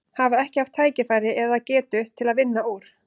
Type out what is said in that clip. Hafa ekki haft tækifæri eða, eða getu til að vinna úr?